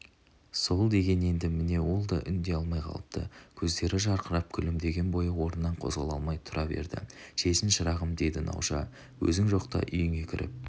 сол деген енді міне ол да үндей алмай қалыпты көздері жарқырап күлімдеген бойы орнынан қозғала алмай тұра берді шешін шырағым деді науша өзің жоқта үйіңе кіріп